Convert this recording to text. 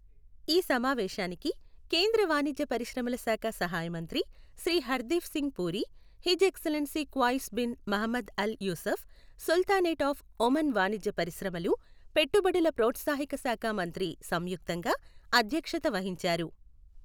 ఈ సమావేశానికి కేంద్ర వాణిజ్య పరిశ్రమల శాఖ సహాయమంత్రి Shri Hardeep Singh Puri, his excellency Qais bin Mohammed Al Yousef, Sultanate of Oman వాణిజ్య పరిశ్రమలు, పెట్టుబడుల ప్రోత్సాహక శాఖ మంత్రి సంయుక్తంగా అధ్యక్షత వహించారు.